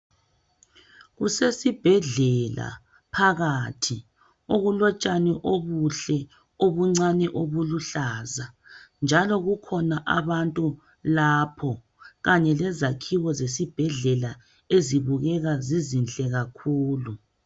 Kusesibhedlela phakathi okulotshani obuhle obuncane obuluhlaza njalo kukhona abantu lapho kanye lezakhiwo zesibhedlela ezibukeka zizinhle kakhulu.